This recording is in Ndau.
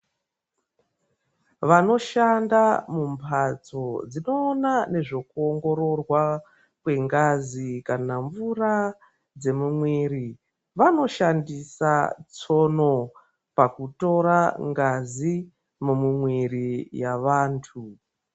Vanoshanda mumbatso dzinoona nezvekuongororwa kwengazi kana mvura dzvemumwiri vanoshandisa tsono pakutora ngazi mumuviri yevantu.